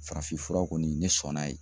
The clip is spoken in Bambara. Farafinfura kɔni ne sɔnn'a ye.